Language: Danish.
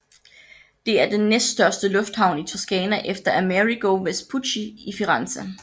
Det er den næststørste lufthavn i Toscana efter Amerigo Vespucci i Firenze